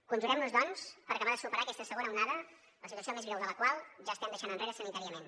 conjurem nos doncs per acabar de superar aquesta segona onada la situació més greu de la qual ja estem deixant enrere sanitàriament